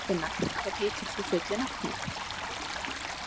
Dýrfinna, hvað heitir þú fullu nafni?